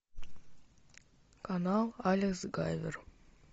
канал алекс гайвер